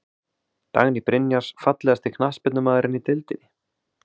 Dagný Brynjars Fallegasti knattspyrnumaðurinn í deildinni?